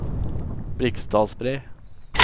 Briksdalsbre